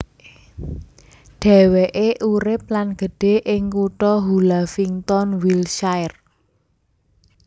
Dhéwéké urip lan gedhe ing kutha Hullavington Wiltshire